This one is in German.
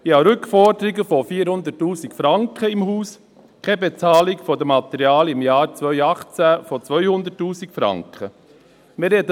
Ich habe Rückforderungen von 400 000 Franken im Haus, und 2018 wird mir Pflegematerial im Umfang von 200 000 Franken nicht bezahlt.